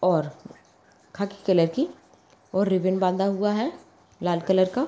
और खाखी कलर की रिबिन बंधा हुआ है लाल कलर का --